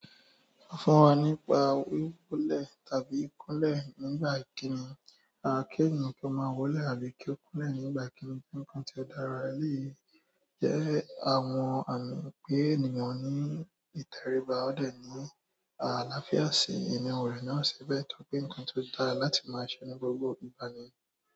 Sọ fún wa nípa wiwólẹ̀ tàbí ikúnlẹ̀ nígbà ìkíni. Ki ènìyàn kí o máa wólẹ̀ àbí kí ó kúnlẹ̀ nígbà ìkíni je ńkan tí ó dára. Lẹ́yìn yẹ, àwọn àmì pé ènìyàn ní ìtẹríba o dẹ̀ ní àlàáfíà sí ènìyàn rẹ̀ náà sì bẹ tó pé ńkan tó dára láti máa ṣe ní gbogbo ìgbà ni.